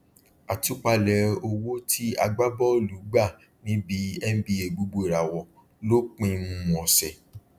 àtúpalẹ owó tí agbábọọlù gba níbi nba gbogboìràwọ lópin um ọsẹ